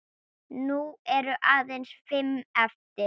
Nú eru aðeins fimm eftir.